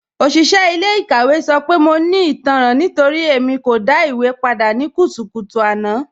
Oṣiṣẹ ilẹ̀-ikàwẹ̀ sọ pé mọ̀ ní ìtànran nítorí Ẹ̀mí kò dá ìwé pàdà ní kùtùkùtù àná